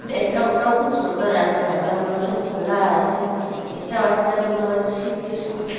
Background -টাও খুব সুন্দর আছে জানালাগুলো সব খোলা আছে একটা বাচ্চা দুটো বাচ্চা শিখছে সব।